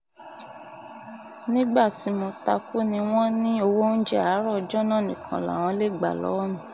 nígbà tí mo ta kú ni wọ́n ní owó oúnjẹ àárọ̀ ọjọ́ náà nìkan làwọn lè gbà lọ́wọ́ mi